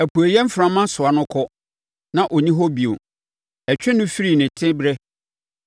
Apueeɛ mframa soa no kɔ, na ɔnni hɔ bio; ɛtwe no firi ne teberɛ.